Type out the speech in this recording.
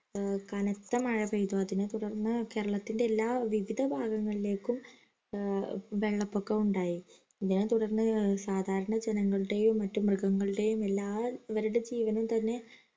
ഏർ കനത്ത മഴ പെയ്തു അതിനെ തുടർന്ന് കേരളത്തിൻറെ എല്ലാ വിവിധ ഭാഗങ്ങളിലേക്കും ഏർ വെള്ളംപൊക്കം ഉണ്ടായി ഇതിനെ തുടർന്ന് സാധാരണ ജനങ്ങളുടെയും മറ്റു മൃഗങ്ങളുടെയും എല്ലാ ഇവരുടെ ജീവനും തന്നെ